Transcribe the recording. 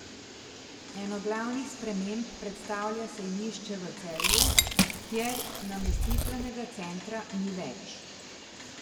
Eno glavnih sprememb predstavlja sejmišče v Celju, kjer namestitvenega centra ni več.